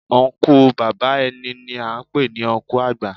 Ọnkú bàbá ẹni ni à ń pè ní Ọnkú àgbà